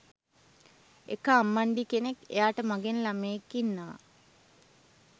එක අම්මණ්ඩි කෙනෙක් එයාට මගෙන් ළමයෙක් ඉන්නවා